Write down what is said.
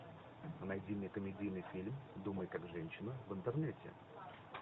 найди мне комедийный фильм думай как женщина в интернете